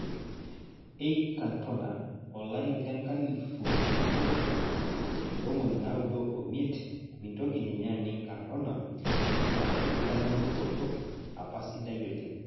Eic Cantona, olari lenklifu nabo ontomoni naudo omiet mintoki ninye aning' Cantona amu enkitanyanyukoto apa sidai oleng'